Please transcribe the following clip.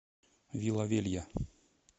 вила велья